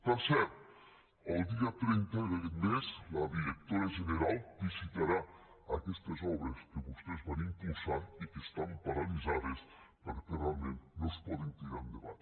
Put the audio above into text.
per cert el dia trenta d’aquest mes la directora general visitarà aquestes obres que vostès van impulsar i que estan pa ralitzades perquè realment no es poden tirar endavant